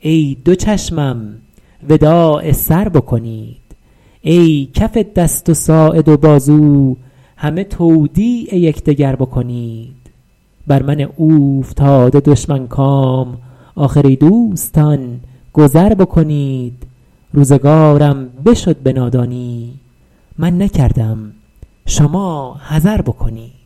ای دو چشمم وداع سر بکنید ای کف دست و ساعد و بازو همه تودیع یکدگر بکنید بر من اوفتاده دشمن کام آخر ای دوستان گذر بکنید روزگارم بشد به نادانی من نکردم شما حذر بکنید